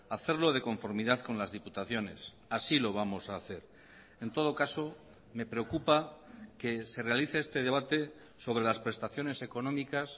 hacerlo de conformidad con las diputaciones así lo vamos a hacer en todo caso me preocupa que se realice este debate sobre las prestaciones económicas